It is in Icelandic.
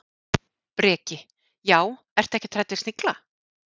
Breki: Já, ertu ekkert hrædd við snigla?